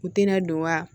U tɛna don wa